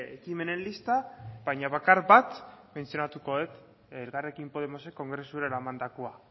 ekimenen lista baina bakar bat mentzionatuko dut elkarrekin podemosek kongresura eramandakoa